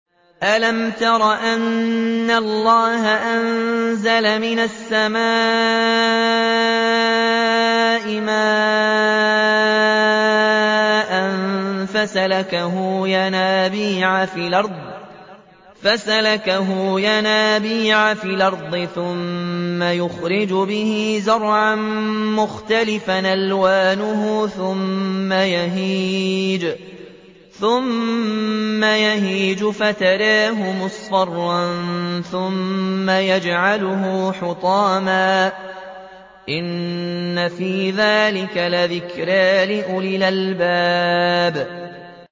أَلَمْ تَرَ أَنَّ اللَّهَ أَنزَلَ مِنَ السَّمَاءِ مَاءً فَسَلَكَهُ يَنَابِيعَ فِي الْأَرْضِ ثُمَّ يُخْرِجُ بِهِ زَرْعًا مُّخْتَلِفًا أَلْوَانُهُ ثُمَّ يَهِيجُ فَتَرَاهُ مُصْفَرًّا ثُمَّ يَجْعَلُهُ حُطَامًا ۚ إِنَّ فِي ذَٰلِكَ لَذِكْرَىٰ لِأُولِي الْأَلْبَابِ